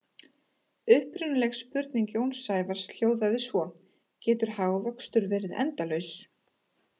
Upprunaleg spurning Jóns Sævars hljóðaði svo: Getur hagvöxtur verið endalaus?